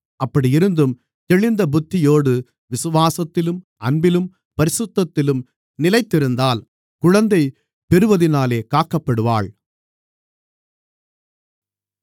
அப்படி இருந்தும் தெளிந்த புத்தியோடு விசுவாசத்திலும் அன்பிலும் பரிசுத்தத்திலும் நிலைத்திருந்தால் குழந்தைப் பெறுவதினாலே காக்கப்படுவாள்